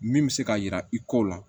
Min bɛ se k'a jira i kow la